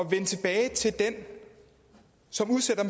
vende tilbage til den som udsætter